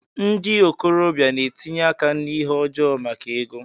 Ndị okorobia na-etinye áká na ihe ọjọọ maka ego.